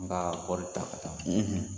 N b'a kɔri taa ka taa